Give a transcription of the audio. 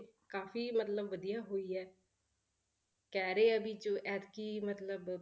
ਕਾਫ਼ੀ ਮਤਲਬ ਵਧੀਆ ਹੋਈ ਹੈ ਕਹਿ ਰਹੇ ਆ ਵੀ ਜੋ ਐਤਕੀ ਮਤਲਬ